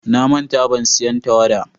Na manta ban siyan tawada.